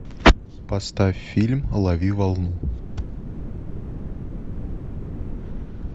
поставь фильм лови волну